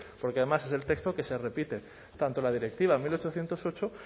porque además es el texto que se repite tanto en la directiva mil ochocientos ocho